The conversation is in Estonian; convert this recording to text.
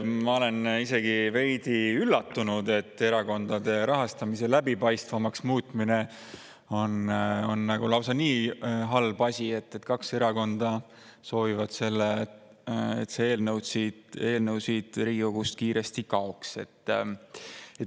Ma olen veidi üllatunud, et erakondade rahastamise läbipaistvamaks muutmine on lausa nii halb asi, et kaks erakonda soovivad, et see eelnõu siit Riigikogust kiiresti kaoks.